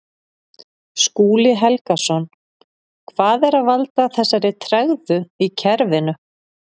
Skúli Helgason: Hvað er að valda þessari tregðu í kerfinu?